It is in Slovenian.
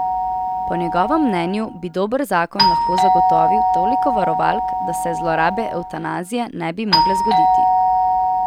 Po njegovem mnenju bi dober zakon lahko zagotovil toliko varovalk, da se zlorabe evtanazije ne bi mogle zgoditi.